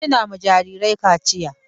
Wasu na ma jarirai kaciya.